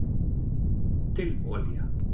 dill olía